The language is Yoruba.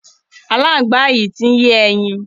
Aláǹgbá yìí ti ń yé ẹyin.